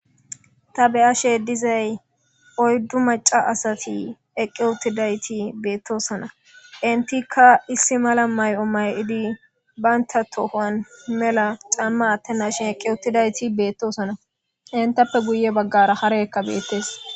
Ta beyashe dizay oyddu maca asati eqqe uttidayti beettosona intikka issi mala may'o may'idi baynta tohoan mela camma atte nashin eqqe uttidayti beettosona intappe guye baggara hareekka beettes.